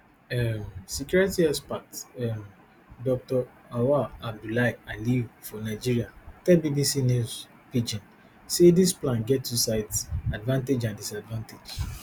um security expert um dr auwal abdullahi aliyu for nigeria tell bbc news pidgin say dis plan get two sides advantage and disadvantage